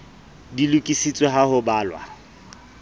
di lokisitswe ha ho balwa